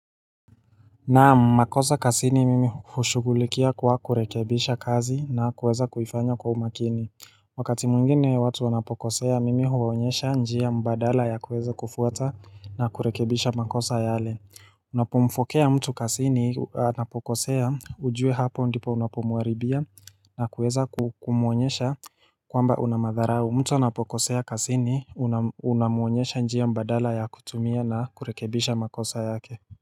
Na makosa kazini mimi hushugulikia kwa kurekebisha kazi na kuweza kuifanya kwa umakini Wakati mwingine watu wanapokosea mimi huwaonyesha njia badala ya kuweza kufuata na kurekebisha makosa yale Unapomfokea mtu kazini wanapokosea ujue hapo ndipo unapomharibia na kuweza kumuonyesha kwamba una madharau mtu anapokosea kazini unamuonyesha njia mbadala ya kutumia na kurekebisha makosa yake.